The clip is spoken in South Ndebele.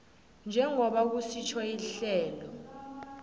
njengoba kusitjho ihlelo